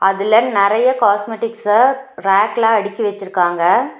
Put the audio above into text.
அதுல நெறைய காஸ்மெட்டிக்ஸ்ஸ ரேக்ல அடிக்கி வெச்சுருக்காங்க.